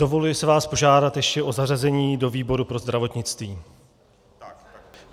Dovoluji si vás požádat ještě o zařazení do výboru pro zdravotnictví.